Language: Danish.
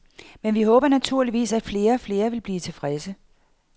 Men vi håber naturligvis, at flere og flere vil blive tilfredse.